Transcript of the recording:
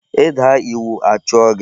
I daa iwu a chụọ gị.